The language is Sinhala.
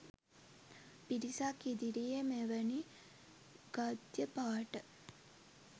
පිරිසක් ඉදිරියේ මෙවැනි ගද්‍ය පාඨ